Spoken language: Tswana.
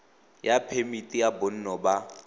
ya phemiti ya bonno ba